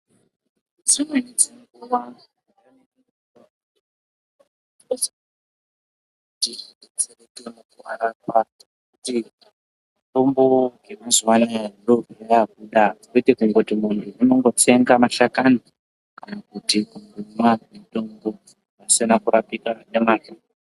Dzimweni dzenguva mitombo yekudhaya dzishandiswa nevantu vanodziziya asi mitombo yamazuvano ndodzava kushandiswa kwete kuti muntu unotsenga mashakani kuti muntu akwanise kurapika zvakanaka.